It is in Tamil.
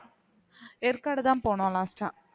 ஏற்காடு தான் போனோம் last ஆ